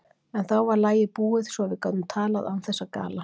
En þá var lagið búið, svo að við gátum talað án þess að gala.